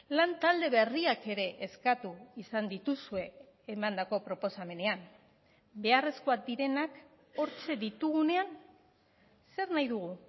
lantalde berriak ere eskatu izan dituzue emandako proposamenean beharrezkoak direnak hortxe ditugunean zer nahi dugu